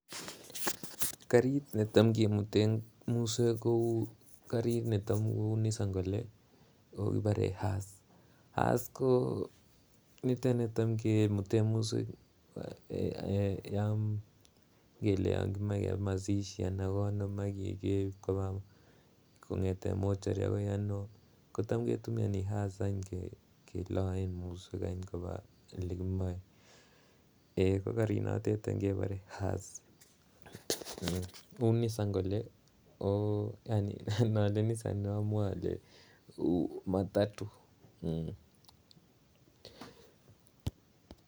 Karit netam kimuten muswek kou karit netam kou Nissan kole ako kibore hearse, hearse ko niton netam kimuten muswek ko yon kimoche keba mashishi ak yon kimoche kimut koba mochwari agoi ano kotom Ke tumioni hearse Ke loen muswek koba Ole kimoe ko karinato kebore hearse uu Nissan ko nole Nissan ne amwoe ko matato